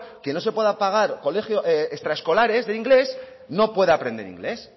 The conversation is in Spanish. quien no se puede pagar extraescolares de inglés no pueda aprender inglés